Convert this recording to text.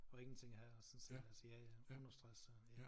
At ingenting at have at sådan set altså ja ja understress øh ja